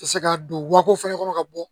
Se ka don wako fɛnɛ kɔnɔ ka bɔ